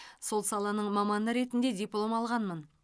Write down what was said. сол саланың маманы ретінде диплом алғанмын